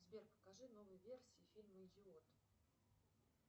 сбер покажи новые версии фильма идиот